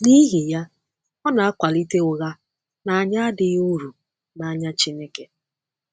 N’ihi ya, ọ na-akwalite ụgha na anyị adịghị uru n’anya Chineke.